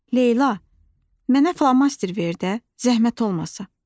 Leyla, mənə flomaster ver də, zəhmət olmasa.